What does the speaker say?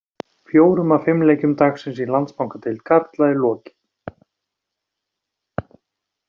Fjórum af fimm leikjum dagsins í Landsbankadeild karla er lokið.